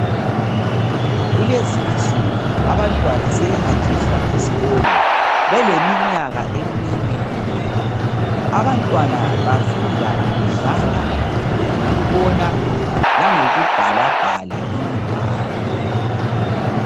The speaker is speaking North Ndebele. Kulezi insuku abantwana sebehanjiswa esikolo beleminyaka emine kuphela .Abantwana bafunda ngokudlala ngokubona langokubhalabhala imibhalo.